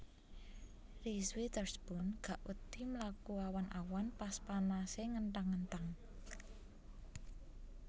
Reese Witherspoon gak wedi mlaku awan awan pas panase ngenthang ngenthang